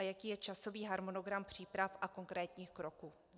A jaký je časový harmonogram příprav a konkrétních kroků?